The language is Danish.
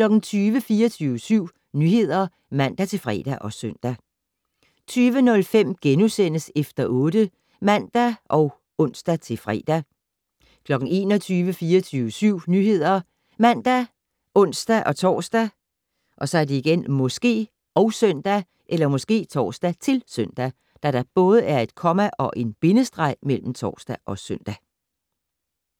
24syv Nyheder (man-fre og søn) 20:05: Efter 8 *(man og ons-fre) 21:00: 24syv Nyheder ( man, ons-tor, -søn)